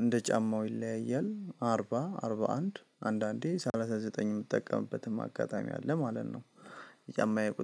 እንደ ጫማው ይለያያል አርባ አርባ አንድ አንዳንዴ ሰላሳ ዘጠኝ የምጠቀምበትም አጋጣሚ አለ ማለት ነው። የጫማየ ቁጥር